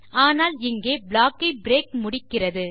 ஆனால் இங்கே ப்ளாக் ஐ பிரேக் முடிக்கிறது